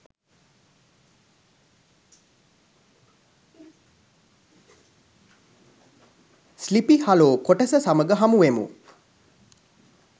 sleepy Hollow කොටස සමග හමු වෙමු